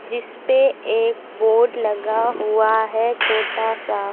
जिसपे एक बोर्ड लगा हुआ है छोटा सा।